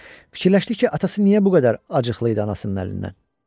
Fikirləşdik ki, atası niyə bu qədər acıqlı idi anasının əlindən.